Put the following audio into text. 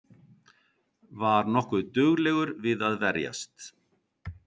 Var nokkuð duglegur við að verjast